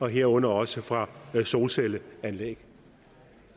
herunder også fra solcelleanlæg